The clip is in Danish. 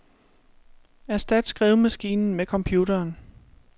Erstat skrivemaskinen med computeren.